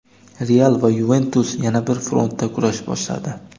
"Real" va "Yuventus" yana bir frontda kurash boshladi.